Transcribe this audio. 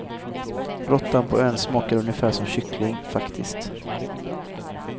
Råttan på ön smakade ungefär som kyckling, faktiskt.